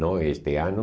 Não este ano.